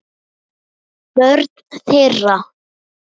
Börn þeirra.